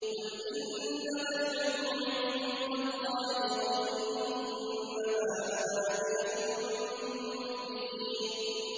قُلْ إِنَّمَا الْعِلْمُ عِندَ اللَّهِ وَإِنَّمَا أَنَا نَذِيرٌ مُّبِينٌ